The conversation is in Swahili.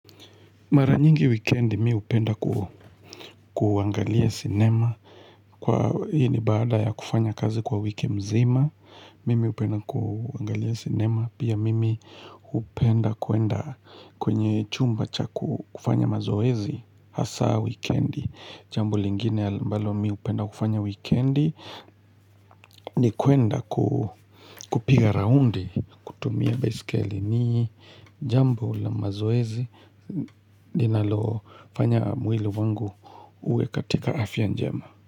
Mara nyingi wikendi mi upenda kuangalia cinema. Kwa hii ni baada ya kufanya kazi kwa wiki mzima. Mimi upenda kuangalia cinema. Pia mimi upenda kuenda kwenye chumba cha kufanya mazoezi. Hasa wikendi. Jambo lingine ambalo mi upenda kufanya wikendi ni kwenda kupiga raundi kutumia baiskeli ni jambo la mazoezi linalofanya mwili wangu uwe katika afya njema.